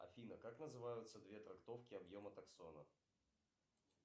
афина как называются две трактовки объема таксона